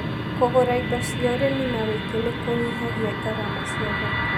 Kũgũra indo cia ũrĩmi na wĩingĩ nĩkũnyihagia garama cia thoko.